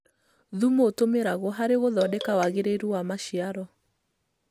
Thumu ũtũmĩragwo harĩ gũthondeka wagĩrĩru wa maciaro.